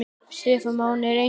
Stefán Máni er engum líkur.